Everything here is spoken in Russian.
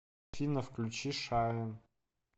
афина включи шайн